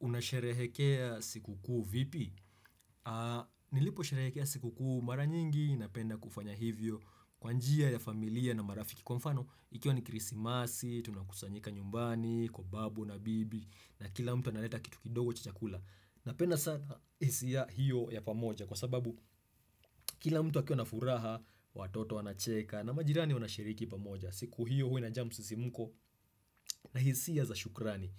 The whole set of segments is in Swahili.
Unasherehekea sikukuu vipi? Nilipo sherehekea sikukuu mara nyingi napenda kufanya hivyo kwa njia ya familia na marafiki kwa mfano Ikiwa ni krisimasi, tunakusanyika nyumbani, kwa babu na bibi na kila mtu analeta kitu kidogo cha chakula. Napenda sana hisia hiyo ya pamoja kwa sababu kila mtu akiwa na furaha, watoto wanacheka na majirani wanashiriki pamoja. Siku hiyo huwa inajaa musisimuko na hisia za shukrani.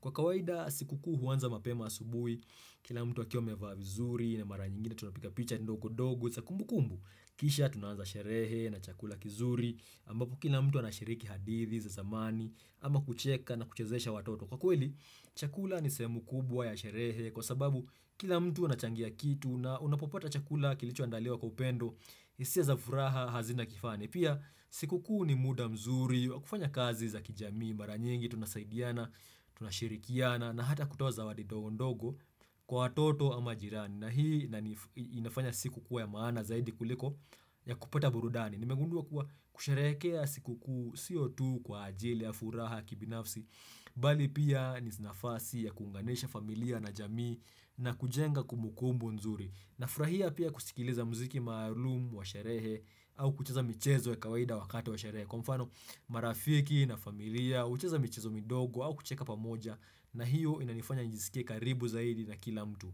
Kwa kawaida sikukuu huanza mapema asubui, kila mtu akiwa amevaa vizuri na mara nyingine tunapiga picha ndogo ndogo, za kumbukumbu. Kisha tunaanza sherehe na chakula kizuri ambapo kila mtu anashiriki hadithi za zamani ama kucheka na kuchezesha watoto. Kwa kweli, chakula ni sehemu kubwa ya sherehe kwa sababu kila mtu anachangia kitu na unapopata chakula kilicho andaliwa kwa upendo, hisia za furaha hazina kifani. Pia, siku kuu ni muda mzuri, wa kufanya kazi za kijamii, mara nyingi, tunasaidiana, tunashirikiana, na hata kutoa zawadi ndogo ndogo kwa watoto ama jirani. Na hii inani inafanya siku kuwa ya maana zaidi kuliko ya kupata burudani. Nimegundua kuwa kusherehekea siku kuu si tu kwa ajili ya furaha kibinafsi Bali pia ni nafasi ya kuunganisha familia na jamii na kujenga kumbu kumbu nzuri. Nafurahia pia kusikiliza mziki maalum kwa sherehe au kucheza michezo ya kawaida wakati wa sherehe Kwa mfano marafiki na familia hucheza michezo midogo au kucheka pamoja na hiyo inanifanya nijisikie karibu zaidi na kila mtu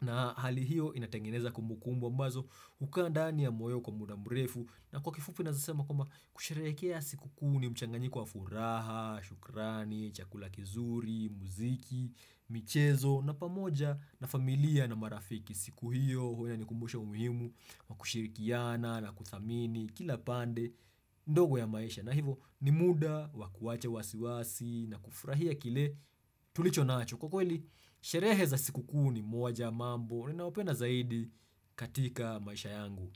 na hali hiyo inatengeneza kumbu kumbu ambazo hukaa ndani ya moyo kwa muda mrefu na kwa kifupi naweza sema kwamba kusherehekea siku kuu ni mchanganyiko wa furaha, shukrani, chakula kizuri, muziki, michezo na pamoja na familia na marafiki. Siku hiyo huwa inanikumbusha umuhimu wa kushirikiana na kuthamini kila pande ndogo ya maisha. Na hivo ni muda wa kuwacha wasiwasi na kufurahia kile tulicho nacho. Kwa kweli, sherehe za siku kuu ni moja ya mambo ninayopenda zaidi katika maisha yangu.